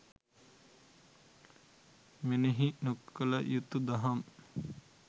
මෙනෙහි නොකළ යුතු දහම්